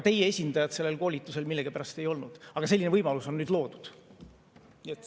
Teie esindajad sellel koolitusel millegipärast ei olnud, aga selline võimalus on nüüd loodud.